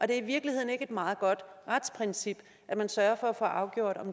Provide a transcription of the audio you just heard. det i virkeligheden ikke et meget godt retsprincip at man sørger for at afgøre